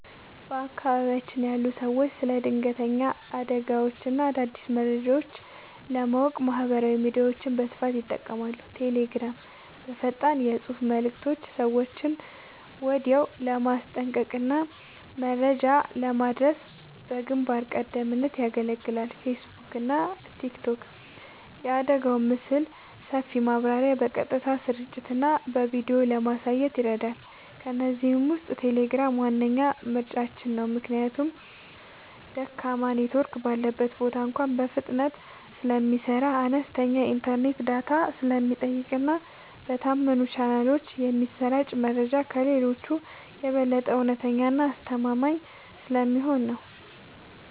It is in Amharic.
በአካባቢያችን ያሉ ሰዎች ስለ ድንገተኛ አደጋዎችና አዳዲስ መረጃዎች ለማወቅ ማህበራዊ ሚዲያዎችን በስፋት ይጠቀማሉ። ቴሌግራም፦ በፈጣን የፅሁፍ መልዕክቶች ሰዎችን ወዲያውኑ ለማስጠንቀቅና መረጃ ለማድረስ በግንባር ቀደምትነት ያገለግላል። ፌስቡክና ቲክቶክ፦ የአደጋውን ምስልና ሰፊ ማብራሪያ በቀጥታ ስርጭትና በቪዲዮ ለማየት ይረዳሉ። ከእነዚህ ውስጥ ቴሌግራም ዋነኛ ምርጫችን ነው። ምክንያቱም ደካማ ኔትወርክ ባለበት ቦታ እንኳ በፍጥነት ስለሚሰራ፣ አነስተኛ የኢንተርኔት ዳታ ስለሚጠቀምና በታመኑ ቻናሎች የሚሰራጨው መረጃ ከሌሎቹ የበለጠ እውነተኛና አስተማማኝ ስለሚሆን ነው።